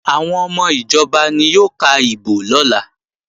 Àwọn ọmọ ìjọba ni yóò ka ìbò lọ́la